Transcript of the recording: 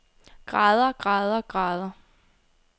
grader grader grader